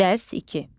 Dərs iki.